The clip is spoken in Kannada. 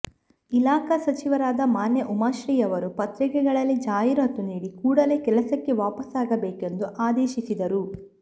ಇಲಾಖಾ ಸಚಿವರಾದ ಮಾನ್ಯ ಉಮಾಶ್ರೀಯವರು ಪತ್ರಿಕೆಗಳಲ್ಲಿ ಜಾಹಿರಾತು ನೀಡಿ ಕೂಡಲೇ ಕೆಲಸಕ್ಕೆ ವಾಪಸ್ಸಾಗಬೇಕೆಂದೂ ಆದೇಶಿಸಿದರು